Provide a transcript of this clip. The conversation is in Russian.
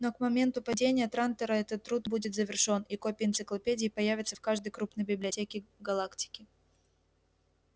но к моменту падения трантора этот труд будет завершён и копии энциклопедии появятся в каждой крупной библиотеке галактики